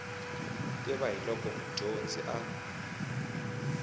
tiva hi loko mudyonzi a